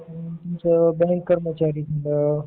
तुमचं बँक कर्मचारी म्हणा